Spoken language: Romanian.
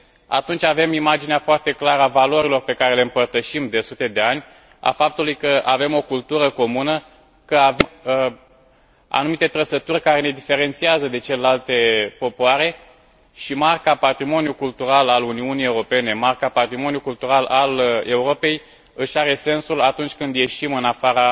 Atunci avem imaginea foarte clară a valorilor pe care le împărtășim de sute de ani, a faptului că avem o cultură comună, că avem anumite trăsături care ne diferențiază de celelalte popoare, și Marca patrimoniului cultural al Uniunii Europene, Marca patrimoniului cultural al Europei își are sensul atunci când ieșim în afara